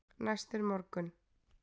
Næst er morgunn.